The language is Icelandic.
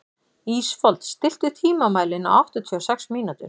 Ísfold, stilltu tímamælinn á áttatíu og sex mínútur.